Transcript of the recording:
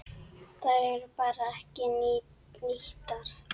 Þær eru bara ekki nýttar.